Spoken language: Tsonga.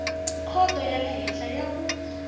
khoto ya le henhla ku